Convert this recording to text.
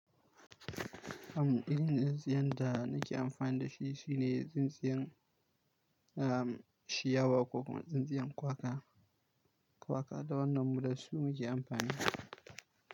Hamɗani, tsintsiyan da nake amfani da shi shine tsintsiyan, ah, shiyawa ko kuma tsintsiyan kwaka. Kwaka da wannan mu da su muke amfani.